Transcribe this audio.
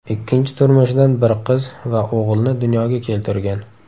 Ikkinchi turmushidan bir qiz va o‘g‘ilni dunyoga keltirgan.